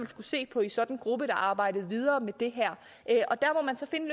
skulle se på i sådan en gruppe der arbejdede videre med det her der må man så finde